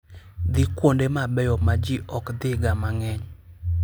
Dhi kuonde mabeyo ma ji ok dhiga mang'eny.